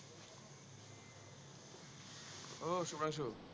আহ সুধাংশু